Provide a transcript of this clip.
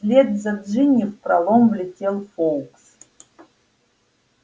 вслед за джинни в пролом влетел фоукс